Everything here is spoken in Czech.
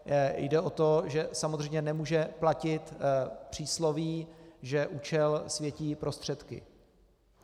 Jde o to, že samozřejmě nemůže platit přísloví, že účel světí prostředky.